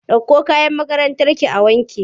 Ɗauko kayan makarantarki a wanke!